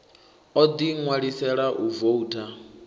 o ḓi ṋwalisela u voutha